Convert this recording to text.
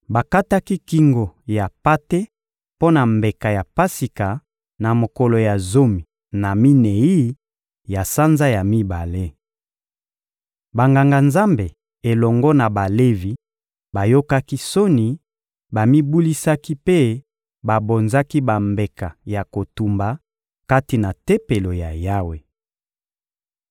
Bakataki kingo ya mpate mpo na mbeka ya Pasika na mokolo ya zomi na minei ya sanza ya mibale. Banganga-Nzambe elongo na Balevi bayokaki soni, bamibulisaki mpe babonzaki bambeka ya kotumba kati na Tempelo ya Yawe.